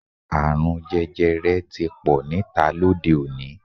Àrùn jẹjẹrẹ ti pò níta lóde-òní.